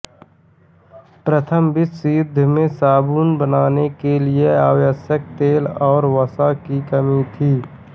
प्रथम विश्व युद्ध में साबुन बनाने के लिए आवश्यक तेल और वसा की कमी थी